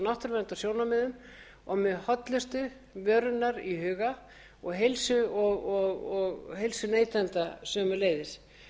náttúruverndarsjónarmiðum og með hollustu vörunnar í huga og heilsu neytenda sömuleiðis